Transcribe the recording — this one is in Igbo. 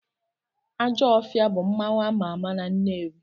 Ajọfịa bụ mmanwụ ama ama na Nnewi.